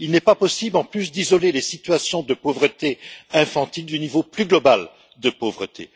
Il n'est pas possible, en plus, d'isoler les situations de pauvreté infantile du niveau plus global de pauvreté.